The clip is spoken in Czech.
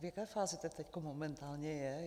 V jaké fázi to teď momentálně je?